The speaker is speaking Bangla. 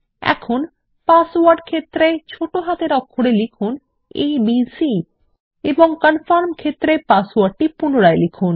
এখন পাসওয়ার্ড ক্ষেত্রে ছোট হাতের অক্ষরে লিখুন এবিসি এবং কনফার্ম ক্ষেত্রে পাসওয়ার্ডটি পুনরায় লিখুন